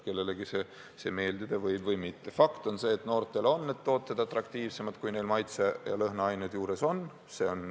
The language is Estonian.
Fakt on see, et noorte silmis on need tooted atraktiivsemad, kui neil maitse- ja lõhnaained juures on.